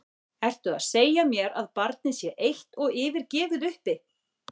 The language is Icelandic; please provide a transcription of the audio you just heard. ERTU AÐ SEGJA MÉR AÐ BARNIÐ SÉ EITT OG YFIRGEFIÐ UPPI!